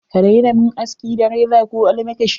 Ka daina mun aski da reza ko almakashi.